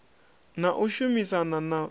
na u shumisana na ṱshitafu